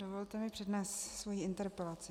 Dovolte mi přednést svoji interpelaci.